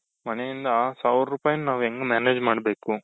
ಮನೆಯಿಂದ ಆ ಸಾವಿರ ರೂಪಾಯಿ ನಾವ್ ಹೆಂಗ್ manage ಮಾಡ್ಬೇಕು